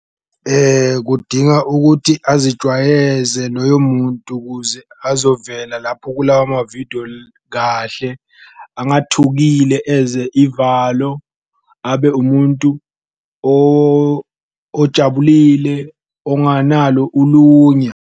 Kudinga ukuthi azijwayeze loyo muntu kuze azovela lapho kulawa amavidiyo kahle angathukile eze ivalo, abe umuntu ojabulile onganalo ulunya.